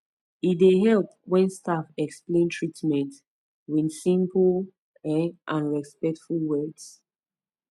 e dey help when staff explain treatment with simple um and respectful words